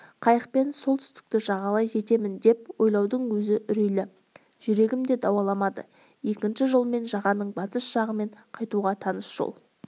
қайықпен солтүстікті жағалай жетемін деп ойлаудың өзі үрейлі жүрегім де дауаламады екінші жолмен жағаның батыс жағымен қайтуға таныс жол